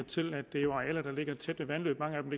til at det jo er arealer der ligger tæt ved vandløb mange af dem